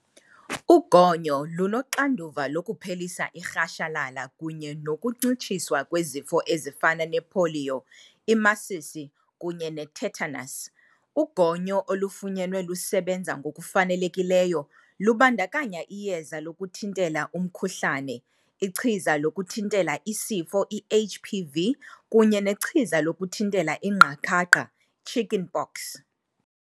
Ugonyo lunoxanduva lokuphelisa irhashalala kunye nokuncitshiswa kwezifo ezifana nepoliyo, imasisi, kunye ne-tetanus. Ugonyo olufunyenwe lusebenza ngokufanelekileyo lubandakanya iyeza lokuthintela umkhuhlane, ichiza lokuthintela isifo i-HPV, kunye nechiza lokuthintela ingqakaqha, chicken pox.